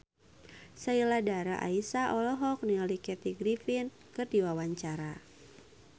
Sheila Dara Aisha olohok ningali Kathy Griffin keur diwawancara